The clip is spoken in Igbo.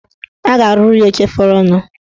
A ga-arụrụ ya oche fọrọnụ.